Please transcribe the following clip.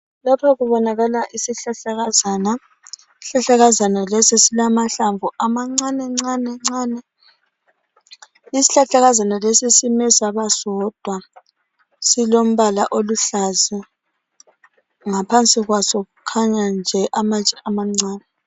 Lapha kubonakala isihlahlakazana. Isihlahlakazana lesi silamahlamvu amancanencane. Isihlahlakazana lesi sime sabasodwa silombala oluhlaza ngaphansi kwaso kukhanya amatshe amancane.